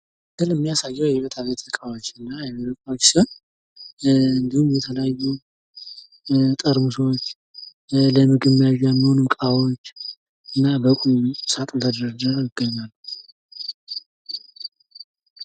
ምስሉ የሚያሳየው የቤትና የቢሮ እቃዎችን ሲሆን ፤ እንዲሁም የተለያሉ ጠርሙሶች ለምግብ መያዣ የሚያገለግሉ እቃዎች በሳጥን ውስጥ ተደርድረው ይታያሉ።